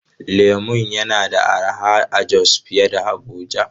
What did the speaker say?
Lemur yana da arha a Jos fiye da Abuja.